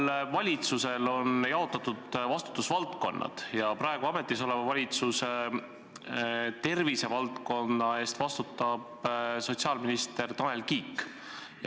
Igas valitsuses on vastutusvaldkonnad jaotatud ja praegu ametis olevas valitsuses vastutab tervisevaldkonna eest sotsiaalminister Tanel Kiik.